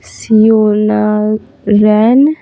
सियोना रैन --